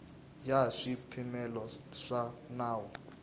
ya hi swipimelo swa nawu